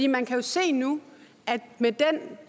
man kan jo se nu med den